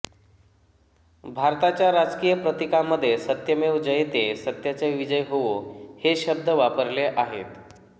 भारताच्या राजकीय प्रतीकामध्ये सत्यमेव जयते सत्याचा विजय होवो हे शब्द वापरले आहेत